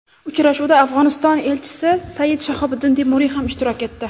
Uchrashuvda Afg‘oniston elchisi Sayid Shahobiddin Temuriy ham ishtirok etdi.